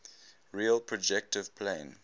real projective plane